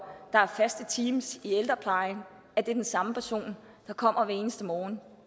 at der er faste teams i ældreplejen at det er den samme person der kommer hver eneste morgen